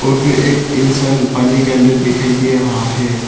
और फिर एक इंसान पानी के अंदर दिखाई दे रहा है।